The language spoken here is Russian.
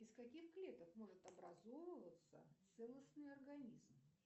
из каких клеток может образовываться целостный организм